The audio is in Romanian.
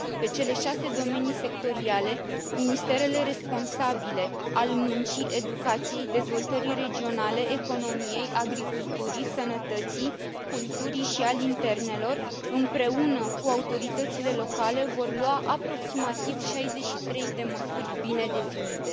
În cele șase domenii sectoriale, ministerele responsabile al Muncii, al Educației, al Dezvoltării Regionale, al Economiei, al Agriculturii, al Sănătății, al Culturii și al Internelor împreună cu autoritățile locale vor lua aproximativ 63 de măsuri bine definite.